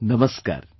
Namaskar